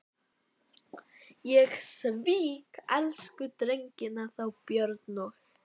Ég svík elsku drengina, þá Björn og